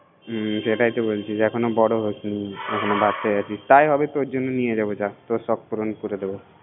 হুম সেটাই তো বলছিতো এখন বরো হয়ছিস না এখনো বাচ্চা আছিসতাই আমি তোর জন্য নিয়ে যাবো যা তোর সখ আমি পুরন কেরে দেব